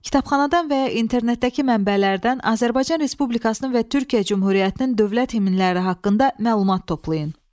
Kitabxanadan və ya internetdəki mənbələrdən Azərbaycan Respublikasının və Türkiyə Cümhuriyyətinin dövlət himləri haqqında məlumat toplayın.